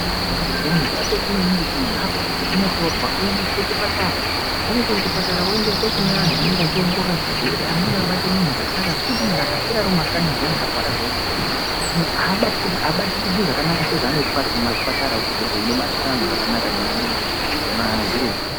Muntu arwara zviyani zvakakosha maningi kuti munhu ararat zviyani unotorwa oyendeswa kuchipatara, aye despatched kuchipatara oyenda kune antu anenge achiongorora zvirwere, anombabata antu zvakanaka ngekuti muntu akaswera ari mumakhanyi zviyani nekuti muntu arwara zviyani ere, muntu abatikirwi zvakanaka sezvaanoitwa ari kumazvipatara kunzvimbo inobatwa zvakanaka nemazviremba.